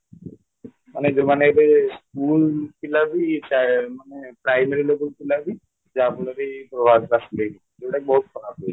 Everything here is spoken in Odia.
ମାନେ ଯୋଉମାନେ ଏବେ school ପିଲାବି ମାନେ primary level ପିଲାବି ଯାହା ଫଳରେ ଯୋଉଟାକି ବହୁତ ଖରାପ